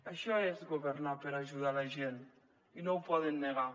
això és governar per ajudar la gent i no ho poden negar